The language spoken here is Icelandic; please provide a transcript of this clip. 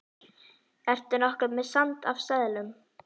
Ertu nokkuð með sand af seðlum.